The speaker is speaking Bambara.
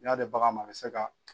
N'i y'a di bagan ma a bɛ se ka